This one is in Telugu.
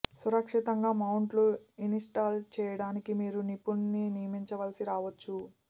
సురక్షితంగా మౌంట్ను ఇన్స్టాల్ చేయడానికి మీరు నిపుణునిని నియమించవలసి రావచ్చు